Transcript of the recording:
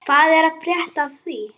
Hvað er að frétta af því?